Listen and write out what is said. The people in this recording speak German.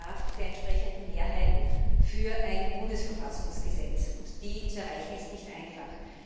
Es bedarf der entsprechenden Mehrheiten für ein Bundesverfassungsgesetz, und die zu erreichen ist nicht einfach.